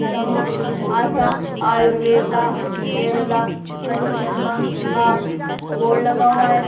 यहां आशा आयुर्वेदा केरला पंचकर्मा का बोर्ड लगा हुआ है।